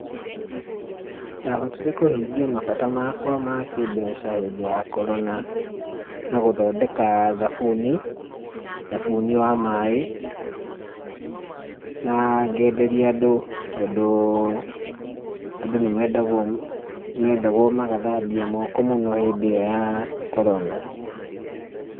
Ndahotire kũhingia mabata makwa ma kĩmbeca hĩndĩ ya Korona na gũthondeka thabuni, thabuni wa maĩ, na ngenderia andũ tondũ andũ nĩ mendagwo, mendagwo magathambia moko mũno hĩndĩ ĩyo ya korona.